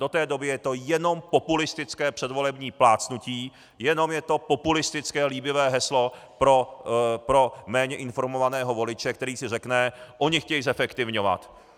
Do té doby je to jenom populistické předvolební plácnutí, jenom je to populistické líbivé heslo pro méně informovaného voliče, který si řekne: Oni chtějí zefektivňovat.